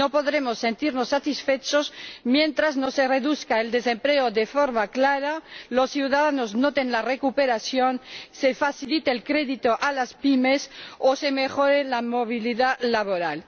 No podremos sentirnos satisfechos mientras no se reduzca el desempleo de forma clara, los ciudadanos noten la recuperación, se facilite el crédito a las pymes o se mejore la movilidad laboral.